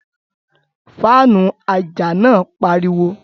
Faanu aja naa npariwo